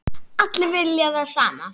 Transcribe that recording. Allir vilja það sama.